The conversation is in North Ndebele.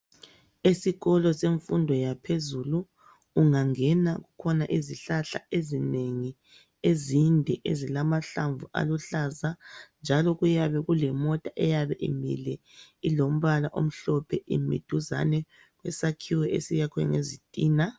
Esikolo semfundo yaphezulu ungangena kukhona izihlahla ezinengi ezinde ezilamahlamvu aluhlaza njalo kuyabe kulemota eyabe imileyo ilombala omhlophe imiduzane kwesakhiwo esiyakhiwe ngezitina.